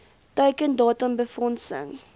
teiken datum befondsing